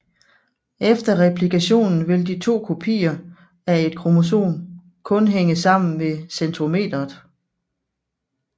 Efter replikationen vil de to kopier af et kromosom kun hænge sammen ved centromeret